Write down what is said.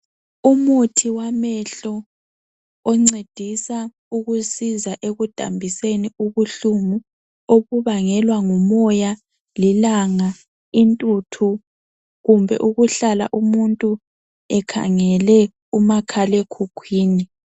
Umuthi wamehlo oncedisa ukusiza ekudambiseni ubuhlungu obubangelwa ngumoya, lilanga, intuthu kumbe ukuhlala umuntu ekhangele umakhalekhukhwini.